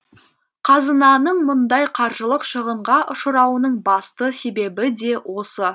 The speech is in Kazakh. қазынаның мұндай қаржылық шығынға ұшырауының басты себебі де осы